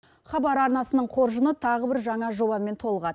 хабар арнасының қоржыны тағы бір жаңа жобамен толығад